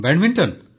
badminton